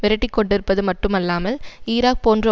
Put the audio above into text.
விரட்டிக்கொண்டிருப்பது மட்டுமல்லாமல் ஈராக் போன்ற